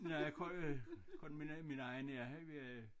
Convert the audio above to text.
Nej kun øh kun min min egen ja øh